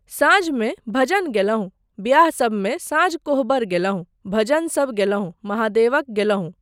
साँझमे भजन गेलहुँ। ब्याहसबमे सांझ कोहबर गेलहुँ, भजनसब गेलहुँ, महादेवक गेलहुँ।